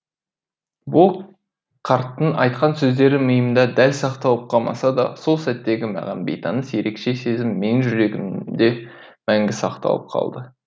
бұл қарттың айтқан сөздері миымда дәл сақталып қалмаса да сол сәттегі маған бейтаныс ерекше сезім менің жүрегімде мәңгі сақталып қалды